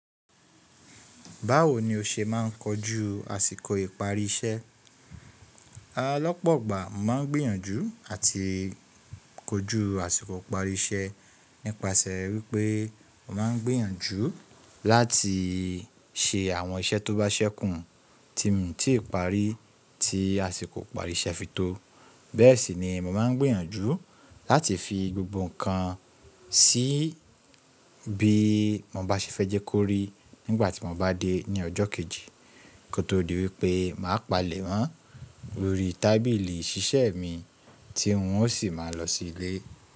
Báwo ni o ṣe máà ń kojú àsìkò ìparí iṣẹ́? Lọ́pọ̀gbà mo máà ń gbìyànjú àti kojú àsìkò ìparí iṣẹ́ nípasẹ̀ wípé mo máà ń gbìyànjú láti ṣe àwọn iṣẹ́ tó bá ṣẹ́kùn tí mio ti parí tí àsìkò ìparí iṣẹ́ fi tó. Bẹ́ẹ̀ sì ni mo máa ń gbìyànjú láti fi gbogbo ǹkan sí bí mo bá ṣe fẹ́ jẹ́ kó rí nígbà tí mo bá dé ní ọjọ́ kejì kó tó di wípé mà á palẹ̀ mọ́ lórí tábìlì ìṣiṣẹ́ mi tí wọn ó sì máa lọ sí ilé.